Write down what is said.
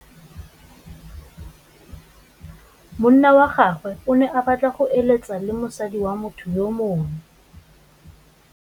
Monna wa gagwe o ne a batla go êlêtsa le mosadi wa motho yo mongwe.